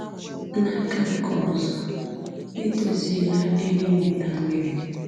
N'aka nke ọzọ, edoziela ebe inweta mmiri..